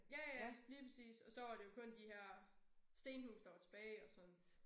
Ja ja lige præcis og så var det jo kun de her stenhuse der var tilbage og sådan